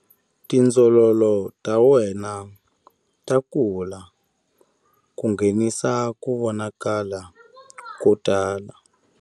Tindzololo ta wena ta kula ku nghenisa ku vonakala ko tala.